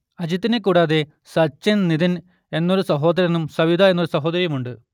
അജിത്തിനെ കൂടാതെ സച്ചിന് നിതിൻ എന്നൊരു സഹോദരനും സവിത എന്നൊരു സഹോദരിയുമുണ്ട്